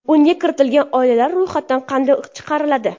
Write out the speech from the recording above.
Unga kiritilgan oilalar ro‘yxatdan qanday chiqariladi?